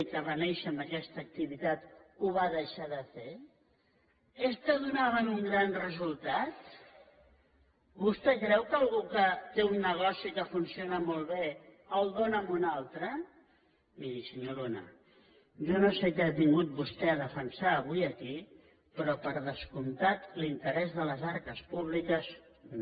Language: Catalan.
i que va néixer amb aquesta activitat ho va deixar de fer es que donaven un gran resultat vostè creu que algú que té un negoci que funciona molt bé el dóna a un altre miri senyor luna jo no sé què ha vingut vostè a defensar avui aquí però per descomptat l’interès de les arques públiques no